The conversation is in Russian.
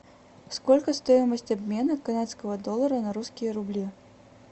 сколько стоимость обмена канадского доллара на русские рубли